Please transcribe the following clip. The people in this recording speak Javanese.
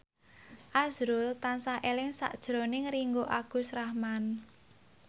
azrul tansah eling sakjroning Ringgo Agus Rahman